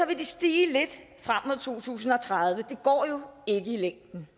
vil den stige lidt frem mod to tusind og tredive det går jo ikke i længden